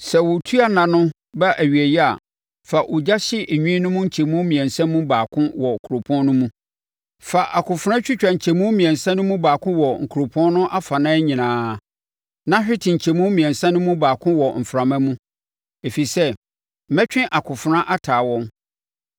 Sɛ wo otua nna no ba awieeɛ a, fa ogya hye nwi no nkyɛmu mmiɛnsa mu baako wɔ kuropɔn no mu. Fa akofena twitwa nkyɛmu mmiɛnsa no mu baako wɔ kuropɔn no afanan nyinaa. Na hwete nkyɛmu mmiɛnsa mu baako wɔ mframa mu, ɛfiri sɛ mɛtwe akofena ataa wɔn.